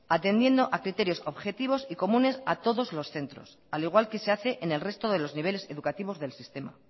atendiendo a criterios objetivos y comunes a todos los centros al igual que se hace en el resto de los niveles educativos del sistema